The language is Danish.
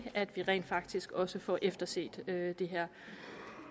at vi rent faktisk også får efterset det her